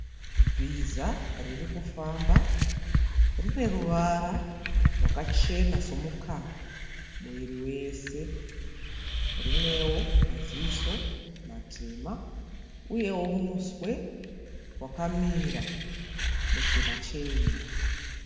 Bhiza riri kufamba. Rine ruvara rwakachena somukaka muviri wese. Rinewo maziso matema uyewo muswe wakamira muchena chena.